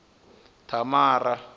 thamara